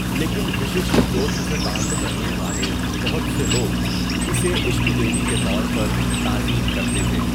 لیکن وششٹھ گوترا سے تعلق رکھنے والے بہت سے لوگ اسے اشتہ دیوی کے طور پر تعظیم کرتے ہیں۔